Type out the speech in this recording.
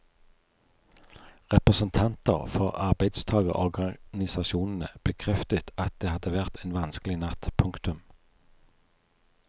Representanter for arbeidstagerorganisasjonene bekreftet at det hadde vært en vanskelig natt. punktum